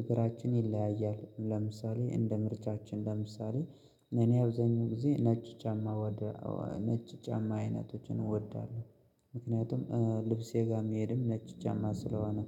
እግራችን ይለያያል ለምሳሌ እንደ ምርጫችን ለምሳሌ እኔ አብዛኛው ጊዜ ነጭ ጫማ ወደ ነጭ ጫማ አይነቶችን እወዳለሁ። ምክንያቱም ልብሴ ጋር መሄድም ነጭ ጫማ ስለሆነ